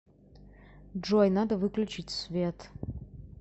джой надо выключить свет